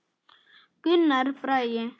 Gunnar Bragi.